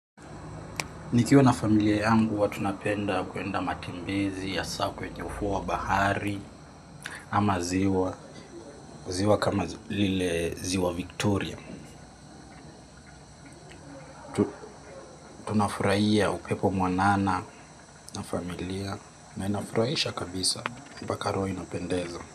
Nikiwa na familia yangu huwa tunapenda kuenda matembezi asakwenye ufuowa bahari ama ziwa, ziwa kama lile ziwa victoria. Tunafuraiya upepo mwanana na familia na inafuraisha kabisa, mbaka roho inapendeza.